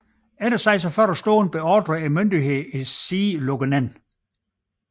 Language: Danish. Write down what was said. Efter 46 timer beordrede myndighederne siden lukket ned